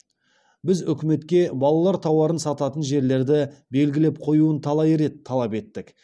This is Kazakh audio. біз өкіметке балалар тауарын сататын жерлерді белгілеп қоюын талай рет талап еттік